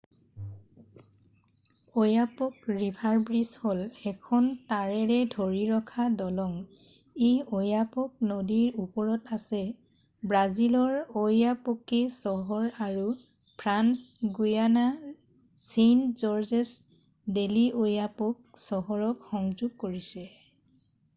"oyapock river bridge হ'ল এখন তাৰেৰে ধৰি ৰখা দলং। ই oyapock নদীৰ ওপৰত আছে ব্ৰাজিলৰ oiapoque চহৰ আৰু ফ্ৰান্স guianaৰ saint-georges del'oyapock চহৰক সংযোগ কৰিছে।""